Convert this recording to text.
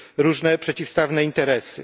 różne przeciwstawne interesy.